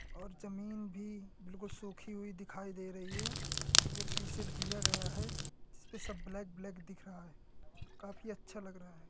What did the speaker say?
और जमीं भी बिलकुल सूखी हुई दिखाई दे रही है। ये दिया गया है जिसपे सब ब्लैक ब्लैक दिख रहा है। काफी अच्छा लग रहा है।